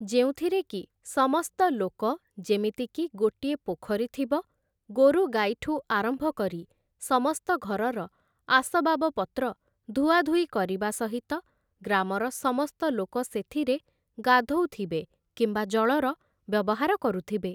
ଯେଉଁଥିରେକି ସମସ୍ତ ଲୋକ ଯେମିତିକି ଗୋଟିଏ ପୋଖରୀ ଥିବ, ଗୋରୁ ଗାଈଠୁ ଆରମ୍ଭ କରି ସମସ୍ତ ଘରର ଆସବାସ ପତ୍ର ଧୁଆ ଧୁଇ କରିବା ସହିତ, ଗ୍ରାମର ସମସ୍ତ ଲୋକ ସେଥିରେ ଗାଧୋଉ ଥିବେ କିମ୍ବା ଜଳର ବ୍ୟବହାର କରୁଥିବେ ।